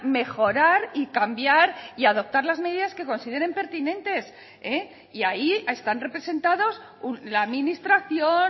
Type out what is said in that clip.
mejorar y cambiar y adoptar las medidas que consideren pertinentes y ahí están representados la administración